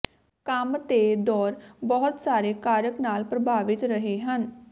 ਕੰਮ ਤੇ ਦੌਰ ਬਹੁਤ ਸਾਰੇ ਕਾਰਕ ਨਾਲ ਪ੍ਰਭਾਵਿਤ ਰਹੇ ਹਨ